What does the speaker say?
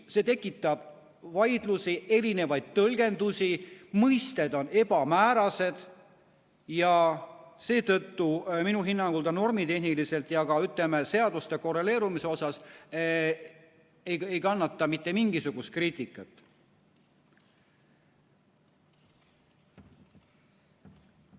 See tekitab vaidlusi, erinevaid tõlgendusi, mõisted on ebamäärased ja seetõttu minu hinnangul ta normitehniliselt ja ka, ütleme, seaduste korreleerumise osas ei kannata mitte mingisugust kriitikat.